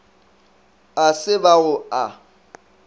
a se ba go a